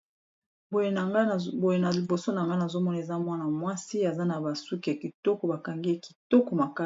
Boye na liboso na nga nazomona eza mwana mwasi aza na ba suki kitoko ba kangi kitoko makasi.